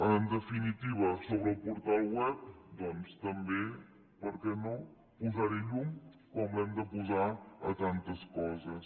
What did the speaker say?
en definitiva sobre el portal web doncs també per què no posar hi llum com l’hem de posar a tantes coses